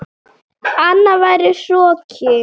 Annað væri hroki.